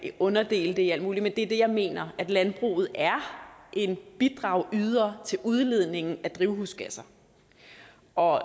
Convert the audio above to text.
underinddele det i alt muligt men det er det jeg mener at landbruget er en bidragyder til udledningen af drivhusgasser og